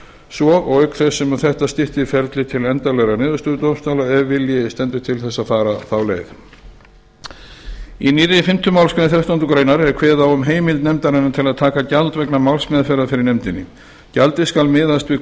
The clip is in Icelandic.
svo auk þess sem þetta styttir ferlið til endanlegrar niðurstöðu dómstóla ef vilji stendur til þess að fara þá leið í nýrri fimmtu málsgrein þrettándu grein er kveðið á um heimild nefndarinnar til að taka gjald vegna málsmeðferðar fyrir nefndinni gjaldið skal miðast við